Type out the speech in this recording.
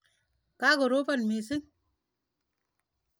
Ka koropon missing'.